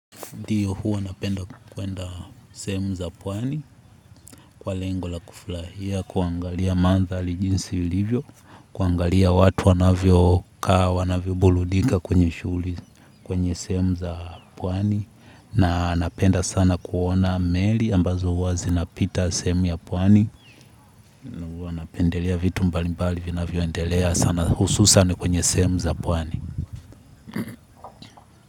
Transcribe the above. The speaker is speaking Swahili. Ndiyo, huwa napenda kwenda sehemu za pwani kwa lengo la kufurahia kuangalia mandhari jinsi ilivyo, kuangalia watu wanavyo kaa wanavyo burudika kwenye shughuli kwenye sehemu za pwani. Na napenda sana kuona meli ambazo huwa zinapita semu ya pwani. Napendelea vitu mbali mbali vinavyoendelea sana hususan kwenye sehemu za pwani.